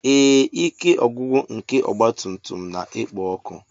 Ee, ike ọgwụgwụ nke ọgba tum tum na-ekpo ọkụ.